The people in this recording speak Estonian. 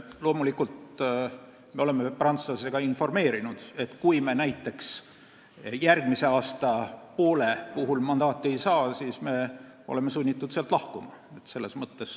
Loomulikult me oleme prantslasi ka informeerinud, et kui me järgmise poole aasta kohta mandaati ei saa, siis me oleme sunnitud sealt lahkuma.